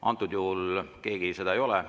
Antud juhul keegi seda teinud ei ole.